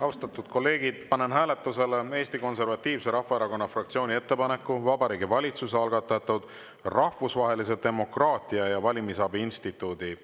Austatud kolleegid, panen hääletusele Eesti Konservatiivse Rahvaerakonna fraktsiooni ettepaneku Vabariigi Valitsuse algatatud Rahvusvahelise Demokraatia ja Valimisabi Instituudi